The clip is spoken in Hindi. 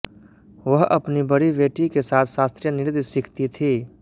वह अपनी बड़ी बेटी के साथ शास्त्रीय नृत्य सीखती है